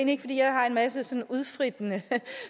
ikke fordi jeg har en masse sådan udfrittende